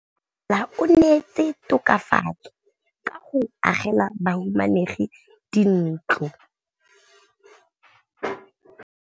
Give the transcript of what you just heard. Mmasepala o neetse tokafatsô ka go agela bahumanegi dintlo.